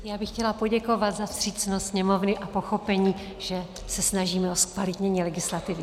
Já bych chtěla poděkovat za vstřícnost Sněmovny a pochopení, že se snažíme o zkvalitnění legislativy.